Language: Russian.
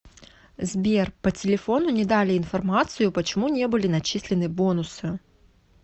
сбер по телефону не дали информацию почему не были начислены бонусы